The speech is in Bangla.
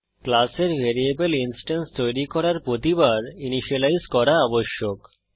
ক্লাসের ভ্যারিয়েবল ইনস্টেন্স তৈরী করার প্রতিবার ইনিসিয়েলাইজ করা আবশ্যক